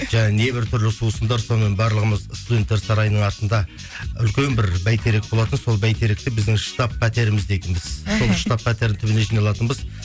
не бір түрлі сусындар сонымен барлығымыз студенттер сарайының артында үлкен бір бәйтерек болатын сол бәйтеректі біздің штаб пәтерміз дейтінбіз сол штаб пәтердің түбіне жиналатынбыз